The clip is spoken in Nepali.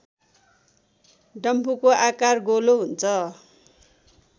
डम्फुको आकार गोलो हुन्छ